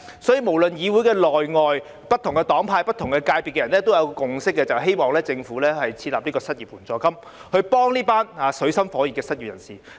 所以，無論在議會內外，不同黨派、不同界別人士都有一個共識，就是希望政府設立失業援助金，幫助這群水深火熱的失業人士。